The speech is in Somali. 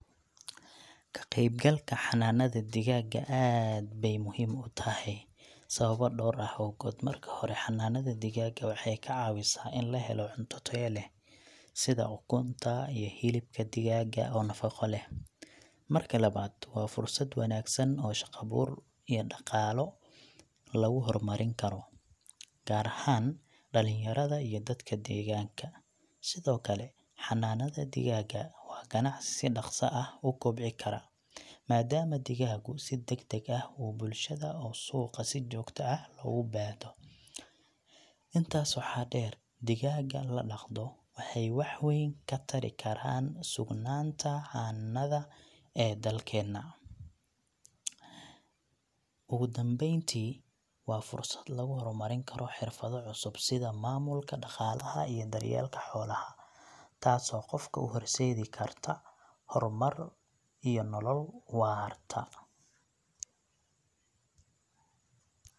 Ka qaybgalka xanaanada digaaga aad beey muhiim u tahay sababo dhowr ah awgood. Marka hore, xanaanada digaaga waxay ka caawisaa in la helo cunto tayo leh sida ukunta iyo hilibka digaaga oo nafaqo leh. Marka labaad, waa fursad wanaagsan oo shaqo abuur iyo dhaqaale lagu horumarin karo, gaar ahaan dhallinyarada iyo dadka deegaanka. Sidoo kale, xanaanada digaaga waa ganacsi si dhaqso ah u kobci kara, maadaama digaagu si degdeg ah u bulshada oo suuqa si joogto ah loogu baahdo. Intaas waxaa dheer, digaaga la dhaqdo waxay wax weyn ka tari karaan sugnaanta cannada ee dalkeenna. Ugu dambeyntii, waa fursad lagu horumarin karo xirfado cusub sida maamulka dhaqaalaha iyo daryeelka xoolaha, taasoo qofka u horseedi karta horumar iyo nolol waarta.